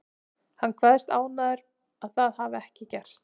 Hann kveðst ánægður að það hafi ekki gerst.